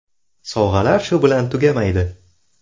Sovg‘alar shu bilan tugamaydi.